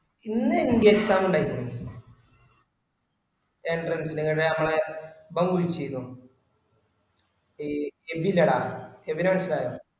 ഇന്ന് എനക്ക് exam ഇണ്ടായിരുന്നു entrance ൻറെ മ്മളെ ഇബൻ വിളിച്ചീനു ഇ എബി ഇല്ലെടാ എബിനെ മനസ്സിലായോ